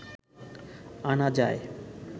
আনা যায়